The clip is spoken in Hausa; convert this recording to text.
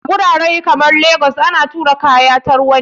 A gurare kamar legas ana tura kaya ta ruwa ne.